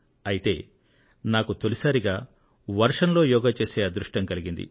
అయితే నాకు తొలిసారిగా వర్షంలో యోగా చేసే అదృష్టం కలిగింది